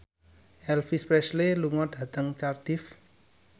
Elvis Presley lunga dhateng Cardiff